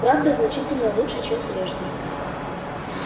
правда значительно лучшего чем прежде